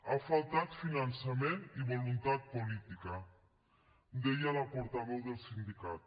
ha faltat finançament i voluntat política deia la portaveu del sindicat